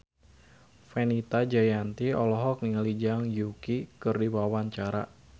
Fenita Jayanti olohok ningali Zhang Yuqi keur diwawancara